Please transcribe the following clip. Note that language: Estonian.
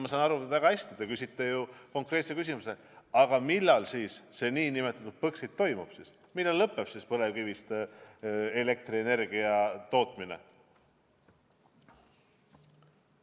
Jah, ma saan väga hästi aru, te küsisite ju konkreetse küsimuse: millal siis see nn Põxit toimub, millal lõpeb põlevkivist elektrienergia tootmine?